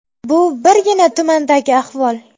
Bu birgina tumandagi ahvol.